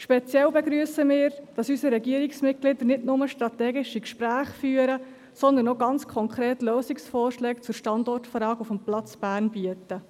Speziell begrüssen wir, dass unsere Regierungsmitglieder nicht nur strategische Gespräche führen, sondern auch konkrete Lösungsvorschläge zur Standortfrage des Platzes Bern bieten.